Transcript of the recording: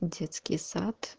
детский сад